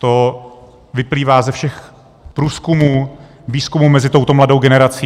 To vyplývá ze všech průzkumů, výzkumů mezi touto mladou generací.